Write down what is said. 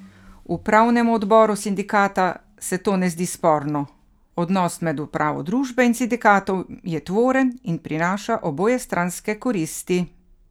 Upravnemu odboru sindikata se to ne zdi sporno: "Odnos med upravo družbe in sindikatom je tvoren in prinaša obojestranske koristi.